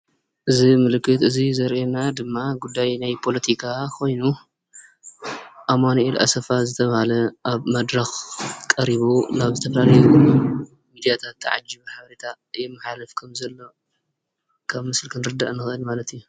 እዚ ምልክት እዚ ዘርእየና ድማ ጉዳይ ናይ ፖሎቲካ ኾይኑ። ኣማኑኤል ኣሰፋ ዝተብሃለ ኣብ መድረኽ ቀሪቡ ናብ ዝተፈላለየ ሚድያታት ተዓጂቡ ሓበሬታ የመሓላልፍ ከም ዘሎ ካብ ምስሊ ክንርዳእ ንኽእል ማለት እዩ።